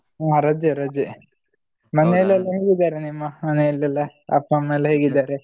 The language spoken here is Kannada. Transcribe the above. ಹ ರಜೆ ರಜೆ. ಮನೇಲಿ ಎಲ್ಲ ಹೇಗಿದ್ದಾರೆ ಎಲ್ಲ ನಿಮ್ಮ ಮನೇಲಿ ಎಲ್ಲಾ ಅಪ್ಪ ಅಮ್ಮ ಎಲ್ಲ ಹೇಗಿದ್ದಾರೆ?